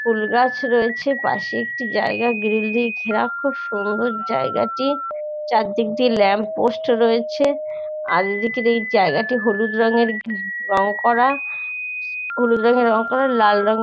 ফুলগাছ রয়েছে পাশে একটি জায়গা গ্রিল দিয়ে ঘেরা। খুব সুন্দর জায়গাটি। চারদিক দিয়ে ল্যাম্প পোস্ট রয়েছে। আর নীচের এই জায়গাটি হলুদ রঙের রং করা । স্কুল যেখানে রং করা লাল রঙের--